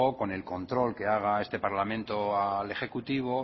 o por el control que haga este parlamento al ejecutivo